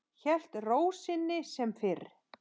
Hélt ró sinni sem fyrr.